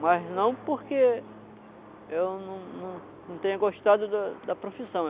Mas não porque eu não não não tenha gostado da da profissão.